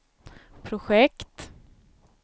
projekt